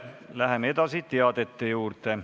Läheme edasi teadete juurde.